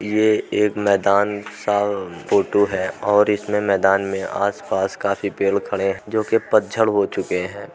यह एक मैदान सा फोटो है और इसमें मैदान में आस-पास काफी पेड़ खड़े हैं जोकि पतझड़ हो चुके हैं।